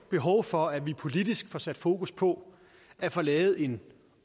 behov for at vi politisk får sat fokus på at få lavet en